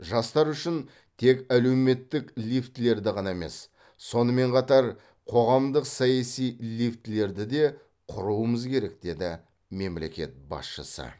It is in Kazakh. жастар үшін тек әлеуметтік лифтілерді ғана емес сонымен қатар қоғамдық саяси лифтілерді де құруымыз керек деді мемлекет басшысы